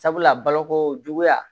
Sabula baloko juguya